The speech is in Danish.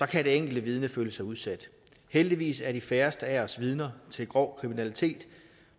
kan de enkelte vidner føle sig udsat heldigvis er de færreste af os vidner til grov kriminalitet